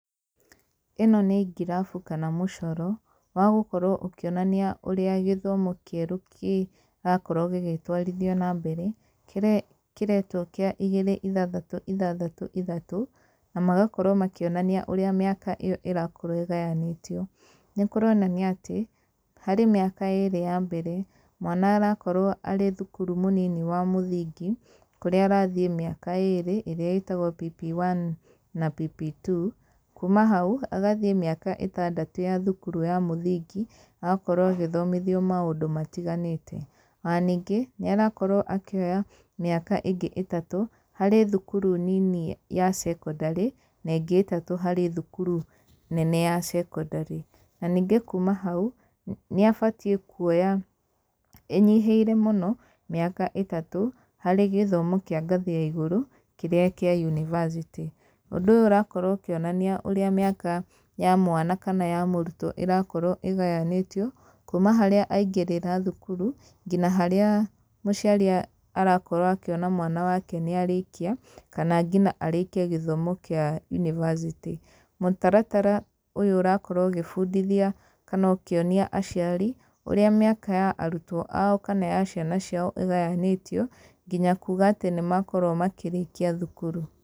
Ĩno nĩ ngirabu kana mũcoro, wa gũkorwo ũkĩonania ũrĩa gĩthomo kĩerũ kĩrakorwo gĩgĩtwarithio na mbere. Kĩrĩa kĩretwo kĩa igĩrĩ ithathatũ ithathtũ ithatũ, na magakorwo makĩonania ũrĩa mĩaka ĩyo ĩrakorwo ĩgayanĩtio. Nĩ kũronania atĩ, harĩ mĩaka ĩĩrĩ ya mbere, mwana arakorwo aríĩthukuru mũnini wa mũthingi, kũrĩa arathiĩ mĩaka ĩĩrĩ, ĩrĩa ĩtagwo PP1 na PP2. Kuuma hau, agathiĩ mĩaka ĩtandatũ ya thukuru ya mũthingi, agakorwo agĩthomithio maũndũ matiganĩte. Ona ningĩ, nĩ arakorwo akĩoya mĩaka ĩngĩ ĩtatũ, harĩ thukuru nini ya cekondarĩ, na ĩngĩ ĩtatũ harĩ thukuru nene ya cekondarĩ. Na ningĩ kuuma hau, nĩ abatiĩ kuoya ĩnyihĩire mũno, mĩaka ĩtatũ, harĩ gĩthomo kĩa ngathi ya igũrũ, kĩrĩa kĩa unibacĩtĩ. Ũndũ ũyũ ũrakorwo ũkĩonania ũrĩa mĩaka ya mwana kana ya mũrutwo ĩrakorwo ĩgayanĩtio, kuuma harĩa aingĩrĩra thukuru, ngina harĩa mũciari arakorwo akĩona mwana wake nĩ arĩkia, kana ngina arĩkie gĩthomo kĩa unibacĩtĩ. Mũtaratara ũyũ ũrakorwo ũgĩbundithia kana ũkĩonia aciari, ũrĩa mĩaka ya arutwo ao kana ya ciana ciao ĩgayanĩtio, nginya kuga atĩ nĩ makorwo makĩrĩkia thukuru.